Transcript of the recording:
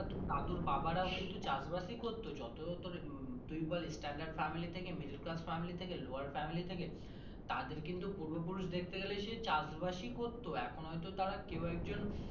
তোর দাদুর বাবা রা চাষ বাস করতো যত তোর উম তুই বল standard family থাকে middle class Family থেকে lower family থেকে তাদের যে পূর্ব পুরষ দেখতে গালেই সেই চাষবাসই করতো এখন হয়তো কেউ একজন।